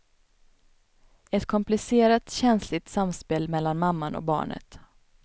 Ett komplicerat, känsligt samspel mellan mamman och barnet.